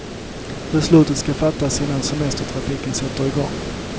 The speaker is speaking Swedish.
Beslutet ska fattas innan semestertrafiken sätter i gång.